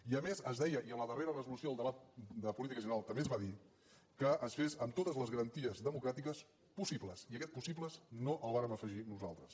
i a més es deia i en la darrera resolució del debat de política general també es va dir que es fes amb totes les garanties democràtiques possibles i aquest possibles no el vàrem afegir nosaltres